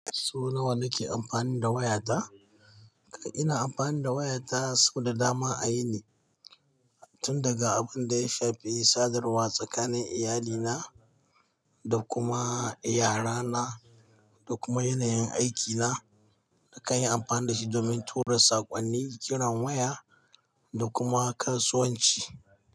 So nawa nake amfani da wayata? Ina amfani da wayata so da dama a yini. Tun daga abin da ya shafi sadarwa tsakanin iyalina, da kuma yara na, da kuma yanayin aikina. Nakan yi amfani da shi domin tura saƙonni, kiran waya da kuma kasuwanci.